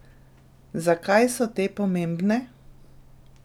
Zakaj so te pomembne?